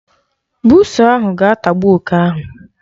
Buusu ahụ ga-atagbu oke ahụ.